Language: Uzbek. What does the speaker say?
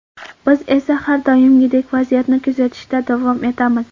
Biz esa har doimgidek vaziyatni kuzatishda davom etamiz.